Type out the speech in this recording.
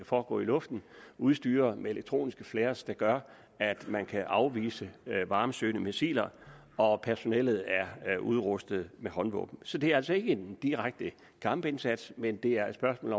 foregå i luften udstyret med elektroniske flares der gør at man kan afvise varmesøgende missiler og personellet er udrustet med håndvåben så det er altså ikke en direkte kampindsats men det er et spørgsmål